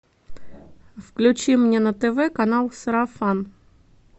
включи мне на тв канал сарафан